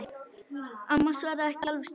Amma svaraði ekki alveg strax.